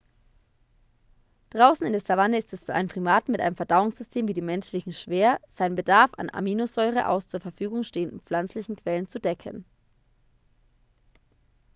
draußen in der savanne ist es für einen primaten mit einem verdauungssystem wie dem menschlichen schwer seinen bedarf an aminosäure aus zur verfügung stehenden pflanzlichen quellen zu decken